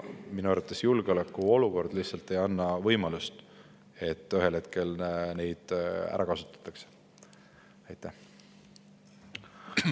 Aga minu arvates julgeoleku olukord lihtsalt ei anna võimalust, sest ühel hetkel võidakse seda ära kasutada.